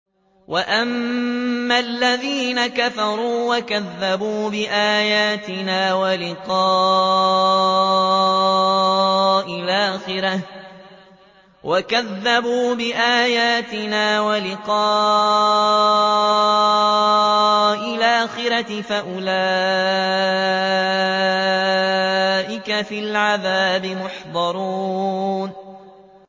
وَأَمَّا الَّذِينَ كَفَرُوا وَكَذَّبُوا بِآيَاتِنَا وَلِقَاءِ الْآخِرَةِ فَأُولَٰئِكَ فِي الْعَذَابِ مُحْضَرُونَ